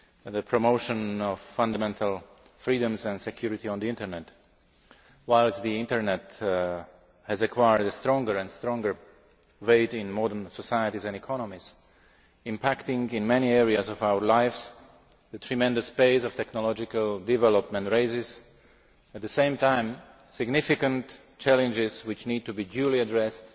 the promotion of fundamental freedoms and security on the Internet. Whilst the Internet has acquired a stronger and stronger weight in modern societies and economies, impacting in many areas of our lives, the tremendous pace of technological development raises, at the same time, significant challenges which need to be duly addressed